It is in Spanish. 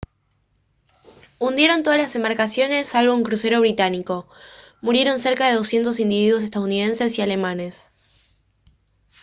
hundieron todas las embarcaciones salvo un crucero británico murieron cerca de doscientos individuos estadounidenses y alemanes